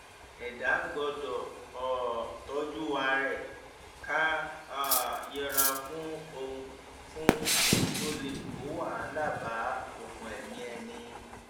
ẹdá gbọdọ um tọjú ara ẹ ká um yẹra fún ohun fún ohun tó lè kó wàhálà bá okùn ẹmí ẹni